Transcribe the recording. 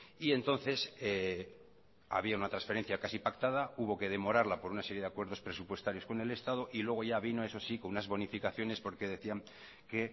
y entonces había una transferencia casi pactada hubo que demorarla por una serie de acuerdos presupuestarios con el estado y luego vino eso sí con unas bonificaciones porque decía que